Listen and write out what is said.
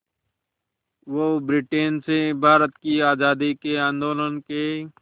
वो ब्रिटेन से भारत की आज़ादी के आंदोलन के